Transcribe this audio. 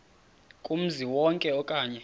kumzi wonke okanye